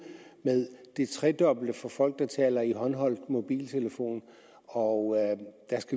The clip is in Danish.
med det tredobbelte for folk der taler i håndholdt mobiltelefon og